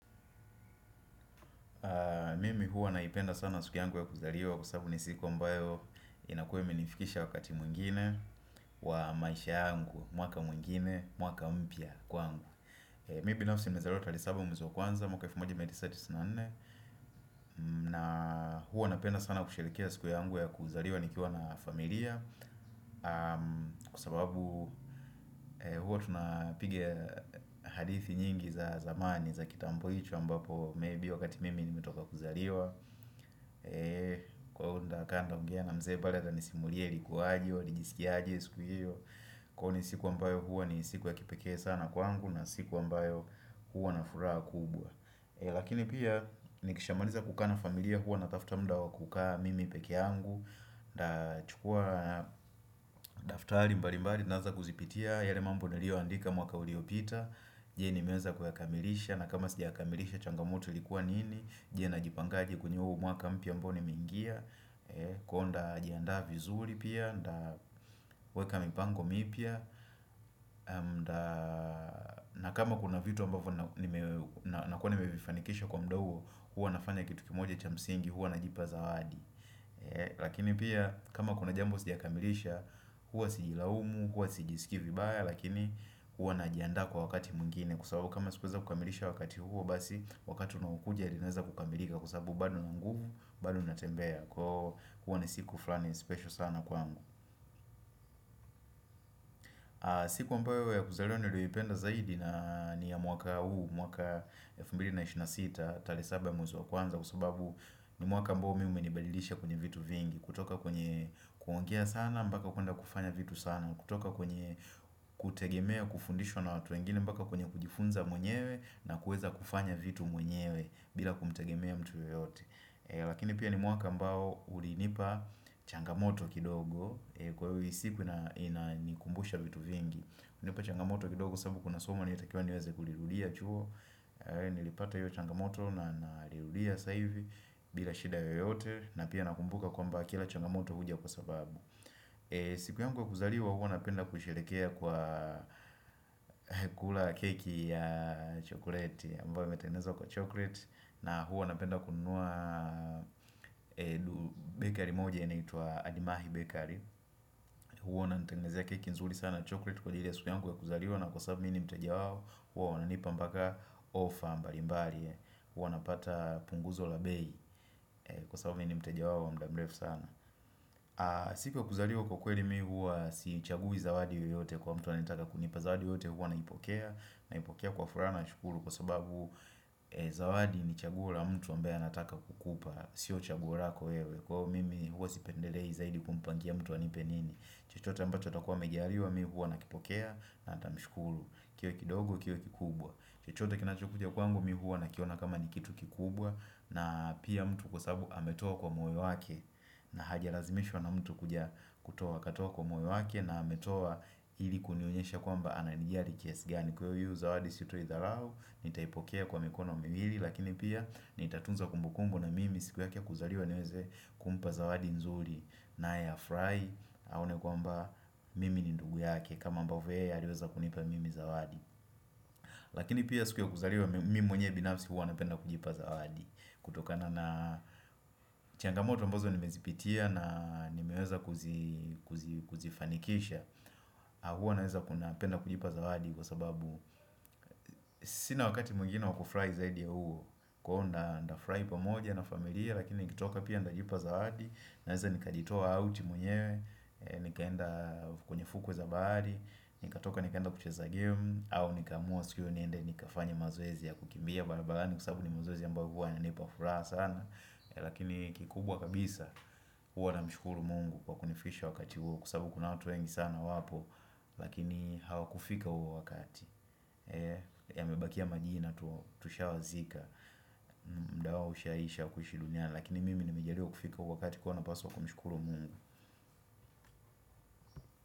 Mimi huwa naipenda sana siku yangu ya kuzaliwa kwa sababu ni siku ambayo inakua imenifikisha wakati mwingine wa maisha yangu, mwaka mwingine, mwaka mpya kwangu. Mimi binafisi nilizaliwa tarehe saba mwezi wa kwanza 1994. Na huwa napenda sana kusherehekea siku yangu ya kuzaliwa nikiwa na familia. Kwa sababu huwa tunapiga hadithi nyingi za zamani za kitambo ambapo maybe wakati mimi nimetoka kuzaliwa. Kwa hivo nitakaa nitaongea na mzee bado atanisimulia ilikuaje, walijisikiaje siku hiyo Kwani ni siku ambayo huwa ni siku ya kipekee sana kwangu na siku ambayo huwa na furaha kubwa Lakini pia nikishamaliza kukaa na familia huwa na tafuta muda wa kukaa mimi pekee yangu Nachukua daftari mbali mbali naaza kuzipitia yale mambo nilioandika mwaka uliopita Je nimeeza kuyakamilisha na kama sijakamilisha changamoto likuwa nini Je najipangaji kwenye huu mwaka mpya ambao nimeingia Kwa hivyo nitajiandaa vizuri pia nitaweka mipango mipya na kama kuna vitu ambavyo Nakua nimevifanikisha kwa muda huo huwa nafanya kitu kimoja cha msingi Huwa najipa zawadi Lakini pia kama kuna jambo Sijakamilisha Huwa sijilaumu Huwa sijisiki vibaya Lakini huwa najiandaa kwa wakati mwingine Kwa wakati huo basi Wakati unaokuja linaeza kukamilika Kwa sababu bado nina nguvu bado natembea kwa hivyo huwa ni siku fulani special sana kwangu siku ambayo ya kuzalewa nilyoipenda zaidi ni ya mwaka huu mwaka 2026 tarehe saba mwezi wa kwanza kwa sababu ni mwaka ambao mimi umenibalidisha kwenye vitu vingi kutoka kwenye kuongea sana mbaka kuenda kufanya vitu sana kutoka kwenye kutegemea kufundishwa na watu wengine mpaka kwenye kujifunza mwenyewe na kueza kufanya vitu mwenyewe bila kumtegemea mtu yoyote lakini pia ni mwaka ambao Ulinipa changamoto kidogo Kwa hivyo hii siku inanikumbusha vitu vingi hunipa changamoto kidogo sababu kuna soma nilitakiwa niweze kulirudia chuo Nilipata hiyo changamoto na nalirudia sasa hivi bila shida yoyote na pia nakumbuka kwamba kila changamoto huja kwa sababu siku yangu wa kuzaliwa huw napenda kusherekea kwa kula keki ya chocolate ambayo imetengenezwa kwa chocolate na huwa napenda kununua bakery moja inaitwa Adimahi Bakery Huwa wananitengezea keki nzuri sana chocolate kwa ile siku yangu ya kuzaliwa na kwa sababu mimi ni mteja wao huo wananipa mpaka offer mbali mbali Huwa napata punguzo la bei kwa sababu mimi ni mteja wao wa muda mrefu sana siko ya kuzaliwa kwa kweli mimi huwa siichagui zawadi yoyote kwa mtu anayetaka kunipa zawadi yoyote huwa naipokea Naipokea kwa furaha anmshukuru kwa sababu zawadi ni chaguo mtu ambaye anataka kukupa Sio chaguo lako wewe Kwa hivyo mimi huwa sipendelei zaidi kumpangia mtu anipe nini chochote ambacho atakuwa amejaliwa mimi huwa nakipokea na nitamshukuru kiwe kidogo kiwe kikubwa chochote kinachokuja kwangu mimi huwa nakiona kama ni kitu kikubwa na pia mtu kwa sababu ametoa kwa moyo wake na hajalazimishwa na mtu kutoa katoa kwa moyo wake na ametoa hili kunionyesha kwamba ananijali kiasi gani Kwa hiyo zawadi sitoi dharau Nitaipokea kwa mikono miwili Lakini pia nitatunza kumbukumbu na mimi siku yake ya kuzaliwa niweze kumpa zawadi nzuri naye afurahi Aone kwamba mimi ni ndugu yake kama ambavyo yeye aliweza kunipa mimi zawadi Lakini pia siku ya kuzaliwa mimi mwenyewe binapsi Huwa napenda kujipa zawadi kutokana na changamoto ambazo nimezipitia na nimeweza kuzifanikisha huwa naweza napenda kujipa zawadi Kwa sababu Sina wakati mwingine wa kufurahi zaidi ya huo Kwa hivyo nitafurahi pamoja na familia Lakini nikitoka pia nitajipa zawadi Naweza nikajitoa out mwenyewe Nikaenda kwenye fukwe za bahari Nikatoka nikaenda kucheza game au nikaamua siku hiyo niende Nikafanye mazoezi ya kukimbia barabarani kwa sababu ni mazoezi aambayo huwa yanipa furaha sana Lakini kikubwa kabisa Huwa namshukuru mungu Kwa kunifikisha wakati huo Kwa sababu kuna watu wengi sana wapo Lakini hawakufika huo wakati Yamebakia majina tu Tushawazika muda wao ushaisha kuishi duniani Lakini mimi nimejaliwa kufika huo wakati Kwa hivyo napaswa kumushukuru mungu.